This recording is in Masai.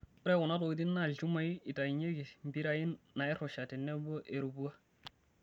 Ore kuna tokitin naa ilchumai eitainyeki, mpirai nairusha tenebo erupua.